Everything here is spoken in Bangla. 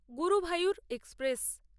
গুরুভায়ুর এক্সপ্রেস